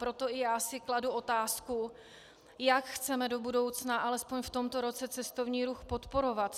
Proto i já si kladu otázku, jak chceme do budoucna alespoň v tomto roce cestovní ruch podporovat.